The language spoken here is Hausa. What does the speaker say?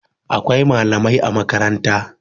Akwai malamai a makaranta